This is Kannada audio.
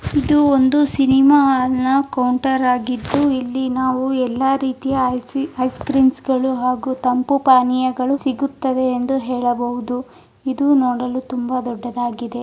ಇದು ಒಂದು ಸಿನೆಮಾ ಹಾಲ್ ನ ಕೌಂಟರ್ ಆಗಿದ್ದು ಇಲ್ಲಿ ನಾವು ಎಲ್ಲ ರೀತಿಯ ಐ ಐಸ್ ಕ್ರೀಮ್ಸ್ಗಳು ಹಾಗು ತಂಪು ಪಾನೀಯಗಳು ಸಿಗುತ್ತದೆ ಎಂದು ಹೇಳಬಹುದು ಇದು ನೋಡಲು ತುಂಬಾ ದೊಡ್ಡದಾಗಿದೆ.